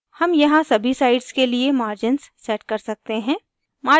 हम यहाँ सभी sides के लिए margins set कर सकते हैं